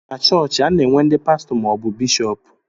Na chọọchị, a na-enwe n'di pastọ ma ọ bụ bishọp.